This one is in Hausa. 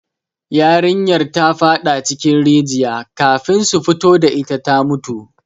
Yarinyar ta fada cikin rigiya, kafin su fito da ita ta mutu